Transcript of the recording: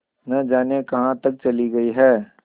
न जाने कहाँ तक चली गई हैं